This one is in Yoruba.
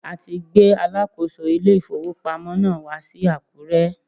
A ti gbé alákòóso ilé ìfowópamọ́ náà wá sí Àkúrẹ́.